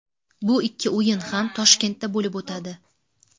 Bu ikki o‘yin ham Toshkentda bo‘lib o‘tadi.